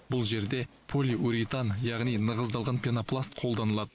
бұл жерде полиуритан яғни нығыздалған пенопласт қолданылады